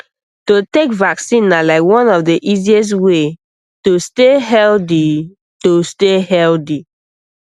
to take vaccine na like one of the easiest way to stay healthy to stay healthy